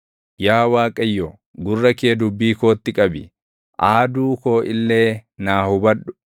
Yaa Waaqayyo, gurra kee dubbii kootti qabi; aaduu koo illee naa hubadhu.